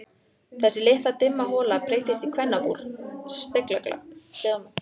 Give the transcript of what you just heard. Þessi litla dimma hola breyttist í kvennabúr, speglasal.